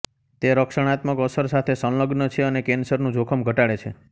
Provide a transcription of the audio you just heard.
તે રક્ષણાત્મક અસર સાથે સંલગ્ન છે અને કેન્સરનું જોખમ ઘટાડે છે